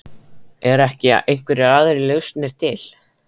Eru ekki einhverjar aðrar lausnir til?